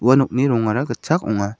ua nokni rongara gitchak ong·a.